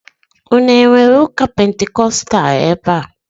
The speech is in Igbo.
Ụnụ enwere ụka pentikóstal ebea?